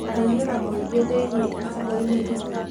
Mũiyũro mũingĩ thĩinĩ icigoinĩ imwe